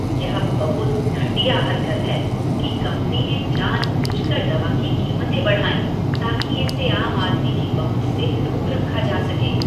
यह बहुत घटिया हरकत है कि कंपनी ने जानबूझकर दवा की कीमतें बढ़ाईं, ताकि इसे आम आदमी की पहुँच से दूर रखा जा सके।